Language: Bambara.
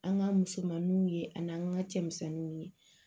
An ka musomaninw ye ani an ka cɛmisɛnninw ye